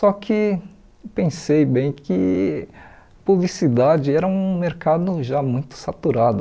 Só que pensei bem que publicidade era um mercado já muito saturado.